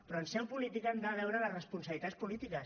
però en seu política hem de veure les responsabilitats polítiques